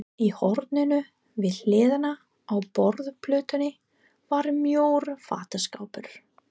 Í horninu við hliðina á borðplötunni var mjór fataskápur.